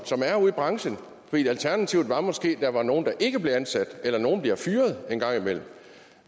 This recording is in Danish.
som er ude i branchen for alternativet var måske at der er nogle der ikke bliver ansat eller at nogle bliver fyret engang imellem